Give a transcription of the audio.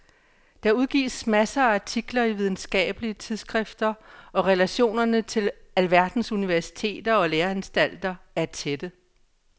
Der udgives masser af artikler i videnskabelige tidsskrifter og relationerne til alverdens universiteter og læreanstalter er tætte.